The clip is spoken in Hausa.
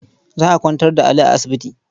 Za a kwantar da Ali a asibiti.